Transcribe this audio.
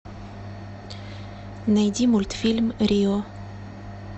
найди мультфильм рио